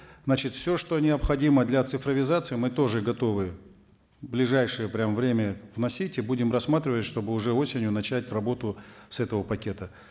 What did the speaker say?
значит все что необходимо для цифровизации мы тоже готовы в ближайшее прямо время вносить и будем рассматривать чтобы уже осенью начать работу с этого пакета